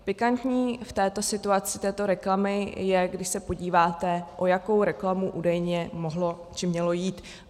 Pikantní v této situaci, této reklamy, je, když se podíváte, o jakou reklamu údajně mohlo či mělo jít.